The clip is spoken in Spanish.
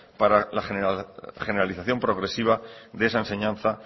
para la generalización progresiva de esa enseñanza